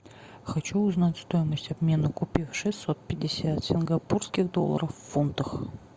хочу узнать стоимость обмена купив шестьсот пятьдесят сингапурских долларов в фунтах